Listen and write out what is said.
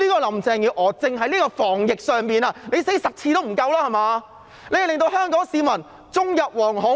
林鄭月娥單單在防疫的表現已經死10次也不夠，令香港市民終日惶恐。